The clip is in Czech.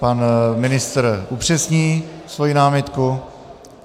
Pan ministr upřesní svou námitku.